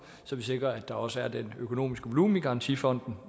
så vi sikrer at der også er den økonomiske volumen i garantifonden